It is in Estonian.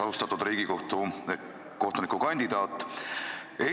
Austatud Riigikohtu liikme kandidaat!